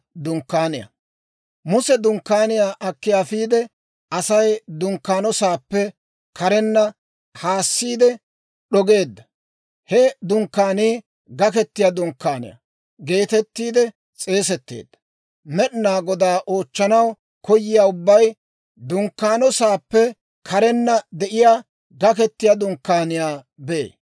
Muse dunkkaaniyaa akki afiide, Asay dunkkaano sa'aappe karenna haassiide d'ogeedda. He dunkkaanii, «Gakettiyaa Dunkkaaniyaa» geetettiide s'eesetteedda. Med'inaa Godaa oochchanaw koyiyaa ubbay dunkkaano sa'aappe karenna de'iyaa Gakettiyaa Dunkkaaniyaa bee.